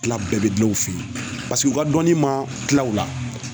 kila bɛɛ be gila u fe yen paseke u ka dɔnni ma kila u la